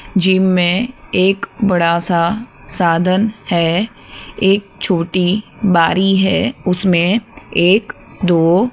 gym में एक बड़ा सा साधन है एक छोटी बारी है उसमें एक दो--